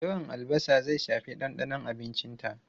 Yawan albasa zai shafi dandanon abincinta.